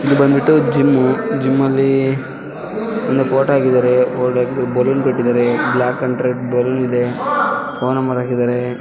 ಇದು ಬಂದ್ಬಿಟ್ಟು gym gym ಅಲ್ಲಿ ಒಂದು ಫೋಟೋ ಹಾಕಿದ್ದಾರೆ ಬಲೂನ್ ಕಟ್ಟಿದ್ದಾರೆ ಬ್ಲಾಕ್ ಅಂಡ್ ರೆಡ್ ಅಲ್ಲಿ ಫೋನ್ ನಂಬರ್ ಹಾಕಿದ್ದಾರೆ.